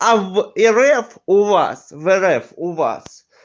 а в рф у вас в рф у вас